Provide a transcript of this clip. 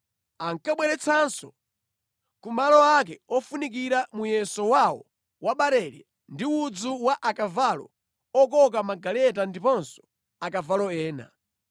Ankabweretsanso ku malo ake ofunikira muyeso wawo wa barele ndi udzu wa akavalo okoka magaleta ndiponso akavalo ena.